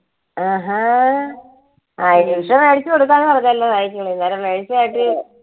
ആഹാ അഹ് നിഷ മേടിച്ചു കൊടുക്കാന്ന് പറഞ്ഞല്ലോ cycle അന്നേരം